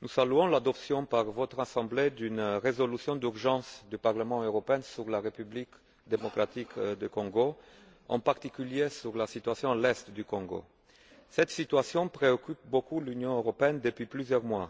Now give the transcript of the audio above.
nous saluons l'adoption par votre assemblée d'une résolution d'urgence du Parlement européen sur la République démocratique du Congo, en particulier sur la situation dans l'Est du Congo. Cette situation préoccupe beaucoup l'Union européenne depuis plusieurs mois.